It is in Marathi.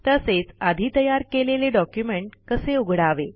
तसेच आधी तयार केलेले डॉक्युमेंट कसे उघडावे